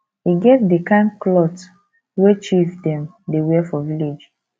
e get di kain clot wey chief dem dey wear for village